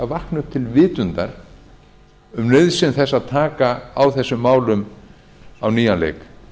vakna upp til vitundar um nauðsyn þess að taka á þessum málum á nýjan leik